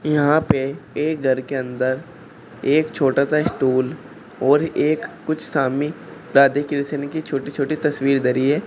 यहां पे एक घर के अंदर एक छोटा सा स्टूल और एक कुछ स्वामी राधे कृष्ण की छोटी छोटी तस्वीर धरी है।